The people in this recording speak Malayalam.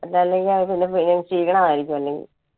അത് അല്ലെങ്കിൽ പിന്നെ ഷീണം ആയിരിക്കും അല്ലെങ്കി.